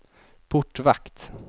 portvakt